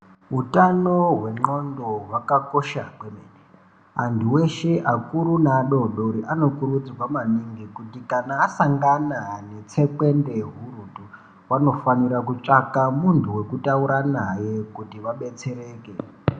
Utano hwendxondo hwakakosha kwemene antu eshe akuru neadodori anokurudzirwa maningi kuti kana asangana netsekwende hurutu vanofanira kutsvaka muntu wekutaura naye kuti vabetsereke.